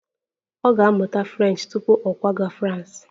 Ọ ga-amụta French tupu ọ kwaga Frans